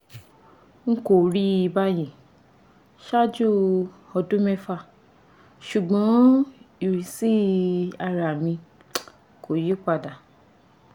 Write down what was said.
n kò rí báyìí ṣáájú ọdún mẹ́fà ṣùgbọ́n ìrísí ara mi kò yí padà